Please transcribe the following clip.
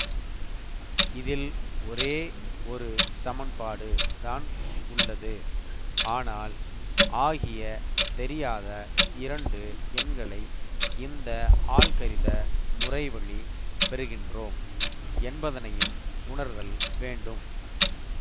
இதில் ஒரே ஒரு சமன்பாடு தான் உள்ளது ஆனால் ஆகிய தெரியாத இரண்டு எண்களை இந்த ஆல்கரித முறைவழி பெறுகின்றோம் என்பதனையும் உணர்தல் வேண்டும்